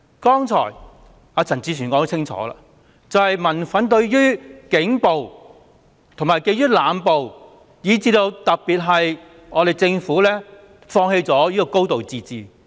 剛才陳志全議員清楚指出，民憤在於警暴及濫捕，以至政府放棄了"高度自治"。